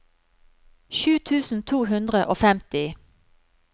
sju tusen to hundre og femti